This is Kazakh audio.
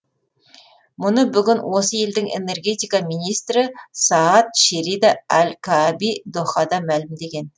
мұны бүгін осы елдің энергетика министрі саад шерида әл қааби дохада мәлімдеген